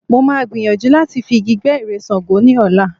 Mo máa gbìyàjú láti fi igi gbẹ́ ère Ṣàngó ní ọ̀la.